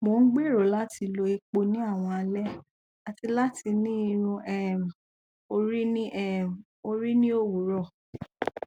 mo n gbero lati lo epo ni awọn alẹ ati lati ni irun um ori ni um ori ni owurọ